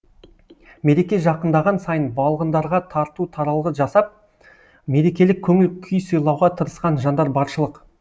мереке жақындаған сайын балғындарға тарту таралғы жасап мерекелік көңіл күй сыйлауға тырысқан жандар баршылық